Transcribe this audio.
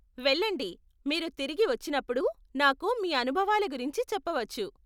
వెళ్ళండి, మీరు తిరిగి వచ్చినప్పుడు, నాకు మీ అనుభవాల గురించి చెప్పవచ్చు.